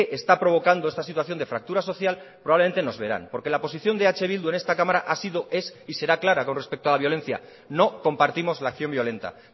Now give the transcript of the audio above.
está provocando esta situación de fractura social probablemente nos verán porque la posición de eh bildu en esta cámara ha sido es y será clara con respecto a la violencia no compartimos la acción violenta